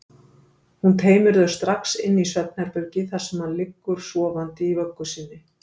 Hún teymir þau strax inn í svefnherbergi þar sem hann liggur sofandi í vöggu sinni.